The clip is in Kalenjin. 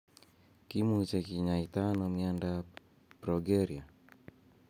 Kimuche kinyaita ano miondap progeria?